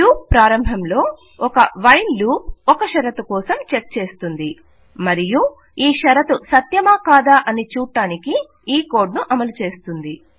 loop ప్రారంభంలో ఒక while loop ఒక షరతు కోసం చెక్ చేస్తుంది మరియు ఈ షరతు సత్యమా కాదా అని చూడడానికి ఈ కోడ్ ను అమలు చేస్తుంది